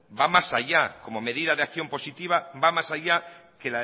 va más allá como medida de acción positiva va más allá que